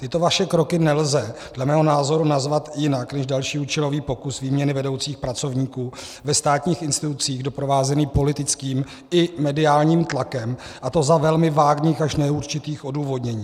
Tyto vaše kroky nelze dle mého názoru nazvat jinak než další účelový pokus výměny vedoucích pracovníků ve státních institucích doprovázený politickým i mediálních tlakem, a to za velmi vágních až neurčitých odůvodnění.